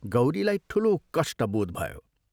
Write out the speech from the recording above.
गौरीलाई ठूलो कष्ट बोध भयो।